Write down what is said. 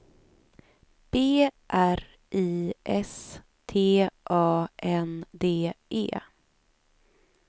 B R I S T A N D E